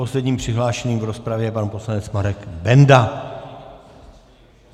Posledním přihlášeným v rozpravě je pan poslanec Marek Benda.